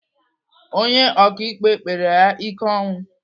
Onye ọkaikpe kpere ya ike ọnwụ.